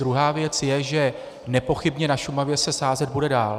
Druhá věc je, že nepochybně na Šumavě se sázet bude dál.